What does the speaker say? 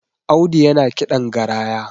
Audu yana kiɗan garaya